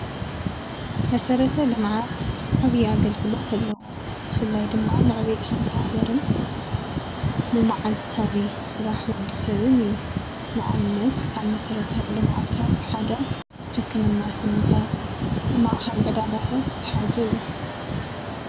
መሰረተ ልማዓትዓቢይ ኣግልግሎት ኣለዎ ብፍላይ ዶሞ ነዕብየት ሓነት ሓገረነ ዲማ ዕለታዊ ስራሓነ ወዲሰብነ ሕክምናስኒ ካሊእ ዕዳጋታት ዘሓዘእዩ።